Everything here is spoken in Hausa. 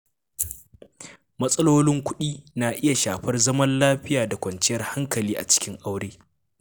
Matsalolin kuɗi na iya shafar zaman lafiya da kwanciyar hankali a cikin aure.